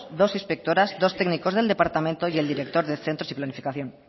dos inspectoras dos técnicos del departamento y el director de centros y planificación